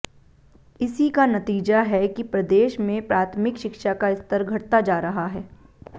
इसी का नतीजा है कि प्रदेश में प्राथमिक शिक्षा का स्तर घटता जा रहा है